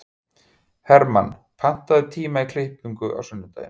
Hermann, pantaðu tíma í klippingu á sunnudaginn.